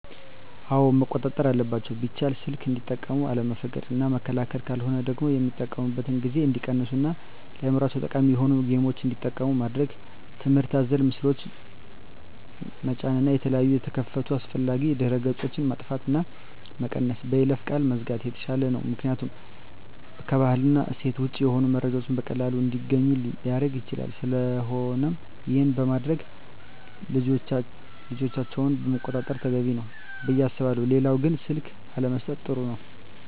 አወ መቆጣጠር አለባቸው ቢቻል ሰልክ እንዲጠቀሙ አለመፍቀድ እና መከልከል ካለሆነ ደግሞ የሚጠቀሚበትን ጊዜ እንዲቀንሡ እና ለአዕምሮቸው ጠቃሚ የሆኑ ጌምችን እንዲጠቀሙ ማድረግ ትምህርት አዘል ምስሎችን ጠጫን እና የተለያየ የተከፈቱ አላስፈላጊ ድህረ ገፆች ማጥፍት እና መቀነስ በይለፈ ቃል መዝጋት የተሻለ ነው ምክኒያቱም ከባህል እና እሴት ወጭ የሆኑ መረጃዎችን በቀላሉ እንዲገኙ ሊረግ ይችላል ስለቆነም ይሄን በማድረግ ልጆቻቸውን መቆጣጠር ተገቢ ነው። ብየ አስባለሁ ሌላው ግን ስልክ አለመሠጠት ጥሩ ነው